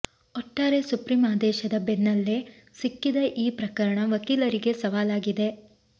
ಒಟ್ಟಾರೆ ಸುಪ್ರೀಂ ಆದೇಶದ ಬೆನ್ನಲ್ಲೇ ಸಿಕ್ಕಿದ ಈ ಪ್ರಕರಣ ವಕೀಲರಿಗೆ ಸವಾಲಾಗಿದೆ